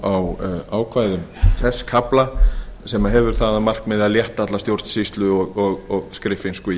á ákvæðum þess kafla sem hefur það að markmiði að létta alla stjórnsýslu og skriffinsku í